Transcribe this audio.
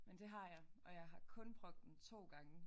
Men det har jeg og jeg har kun brugt den 2 gange